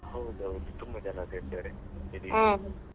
ಹೌದೌದು ತುಂಬಾ ಜನ ಸೇರ್ತಾರೆ .